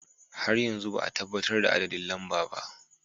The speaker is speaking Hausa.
Har yanzu ba a tabbatar da adadin lamba ba.